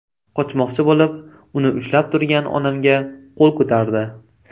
Qochmoqchi bo‘lib, uni ushlab turgan onamga qo‘l ko‘tardi.